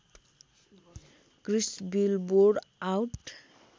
Chris billboard out